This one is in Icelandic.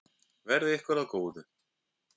Verði ykkur að góðu.